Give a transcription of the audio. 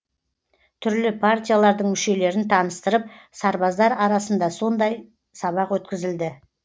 түрлі партиялардың мүшелерін таныстырып сарбаздар арасында сондай сабақ өткізілді